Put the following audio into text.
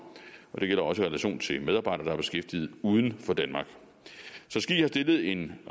og det gælder også i relation til medarbejdere der er beskæftiget uden for danmark så ski har stillet en